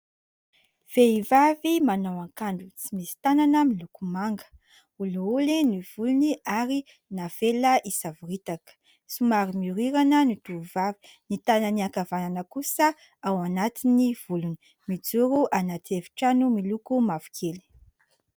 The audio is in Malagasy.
Vehivavy manao akanjo tsy misy tanana miloko manga, olioly ny volony ary navela hisavoritaka, somary mihorirana ny tovovavy, ny tanany ankavanana kosa ao anaty ny volony, mijoro anaty efitrano miloko mavokely.